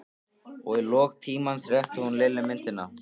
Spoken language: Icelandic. Og í lok tímans rétti hún Lillu myndina.